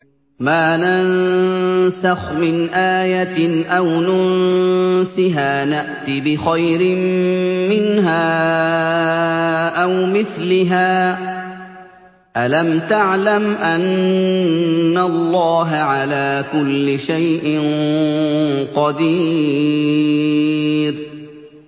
۞ مَا نَنسَخْ مِنْ آيَةٍ أَوْ نُنسِهَا نَأْتِ بِخَيْرٍ مِّنْهَا أَوْ مِثْلِهَا ۗ أَلَمْ تَعْلَمْ أَنَّ اللَّهَ عَلَىٰ كُلِّ شَيْءٍ قَدِيرٌ